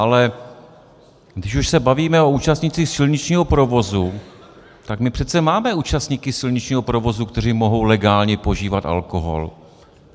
Ale když už se bavíme o účastnících silničního provozu, tak my přece máme účastníky silničního provozu, kteří mohou legálně požívat alkohol.